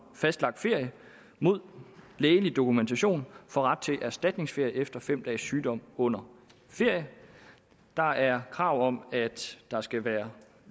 fastlagt ferie mod lægelig dokumentation får ret til erstatningsferie efter fem dages sygdom under ferie der er krav om at der skal være